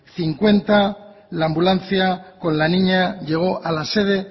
cincuenta la ambulancia con la niña llegó a la sede